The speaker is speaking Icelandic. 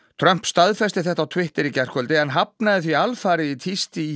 Trump staðfesti þetta á Twitter í gærkvöldi en hafnaði því alfarið í tísti í